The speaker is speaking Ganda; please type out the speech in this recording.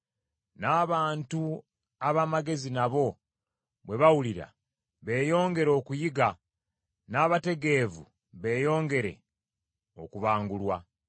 N’abantu ab’amagezi nabo bwe bawulira beeyongere okuyiga n’abategeevu beeyongere okubangulwa.